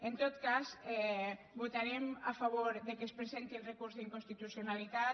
en tot cas votarem a favor que es presenti el recurs d’inconstitucionalitat